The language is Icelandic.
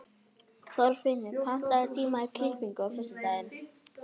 Þorfinnur, pantaðu tíma í klippingu á föstudaginn.